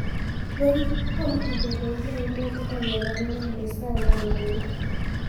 Borithi kũhamũrithia bengi ya Umoja magĩethana na mbeca ngananie